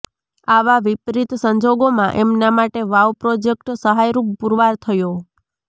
આવા વિપરીત સંજોગોમાં એમના માટે વાઉ પ્રોજેકટ સહાયરૂપ પુરવાર થયો